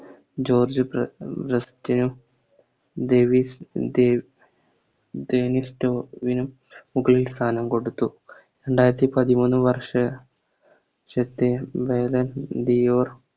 George ബ്രാ ബെസ്റ്റിനും Davis Davy Davis സ്ട്രോർവിനും മുകളിൽ സ്ഥാനം കൊടുത്തു രണ്ടായിരത്തി പതിമൂന്ന് വർഷ വർഷത്തെ അതായത് ലിയോ